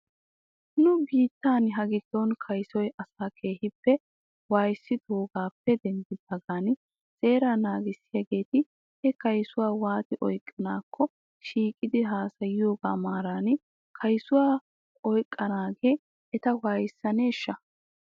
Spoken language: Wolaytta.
Nu biittan hagiddon kayssoy asaa keehippe waayissidoogaappe denddidaagan seeraa naagissiyaageeti he kaysota waati oyqqanaakko shiiqettidi haasayoogaa maaran kaysuwaa oyqqanaagee eta waayissaneeshsha?